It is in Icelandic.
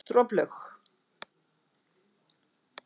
Droplaug